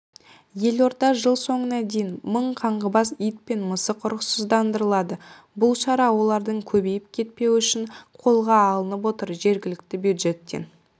елордада жыл соңына дейін мың қаңғыбас ит пен мысық ұрықсыздандырылады бұл шара олардың көбейіп кетпеуі үшін қолға алынып отыр жергілікті бюджеттен